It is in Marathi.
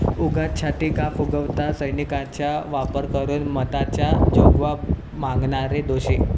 उगाच छाती का फुगवता? सैनिकांचा वापर करून मतांचा जोगवा मागणारे दोषी'